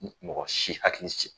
Mɔgɔ si hakili sigi